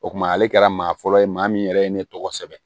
O kuma ale kɛra maa fɔlɔ ye maa min yɛrɛ ye ne tɔgɔ sɛbɛn